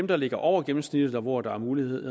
der ligger over gennemsnittet og hvor der er mulighed